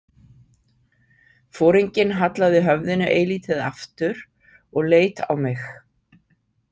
Foringinn hallaði höfðinu eilítið aftur og leit á mig.